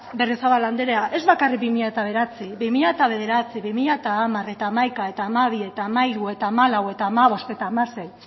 berriozabal andrea ez bakarrik bi mila bederatzi bi mila bederatzi bi mila hamar eta hamaika eta hamabi eta hamairu eta hamalau eta hamabost eta hamasei